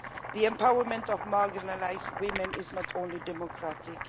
The empowerment of marginalised women is not only democratic.